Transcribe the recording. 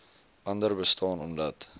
andere bestaan omdat